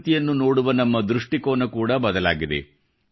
ಪ್ರಕೃತಿಯನ್ನು ನೋಡುವ ನಮ್ಮ ದೃಷ್ಟಿಕೋನ ಕೂಡ ಬದಲಾಗಿದೆ